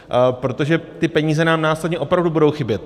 Protože ty peníze nám následně opravdu budou chybět.